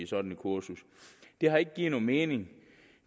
sådan et kursus det har ikke givet nogen mening